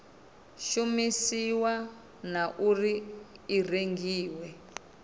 shumisiwa na uri i rengiwa